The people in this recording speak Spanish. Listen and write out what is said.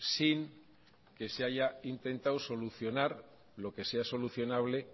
sin que se haya intentado solucionar lo que sea solucionable